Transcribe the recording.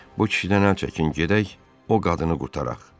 Bu kişidən əl çəkin, gedək o qadını qurtaraq.